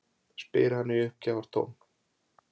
spyr hann í uppgjafar vælutón.